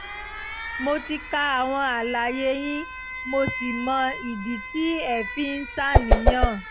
mo ti ka àwọn àlàyé yín mo sì mọ ìdí tí ẹ fi ń ṣàníyàn